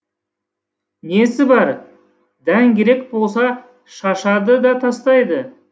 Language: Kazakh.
несі бар дән керек болса шашады да тастайды